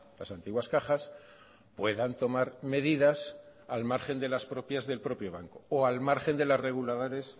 las antiguas cajas puedan tomar medidas al margen de las propias del propio banco o al margen de los reguladores